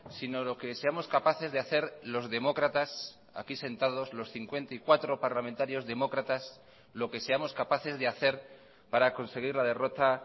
sino lo que seamos capaces de hacer los demócratas aquí sentados los cincuenta y cuatro parlamentarios demócratas lo que seamos capaces de hacer para conseguir la derrota